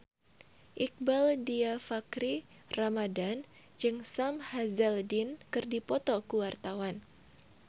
Iqbaal Dhiafakhri Ramadhan jeung Sam Hazeldine keur dipoto ku wartawan